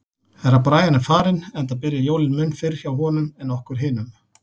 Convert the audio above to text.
Herra Brian er farinn, enda byrja jólin mun fyrr hjá honum en okkur hinum.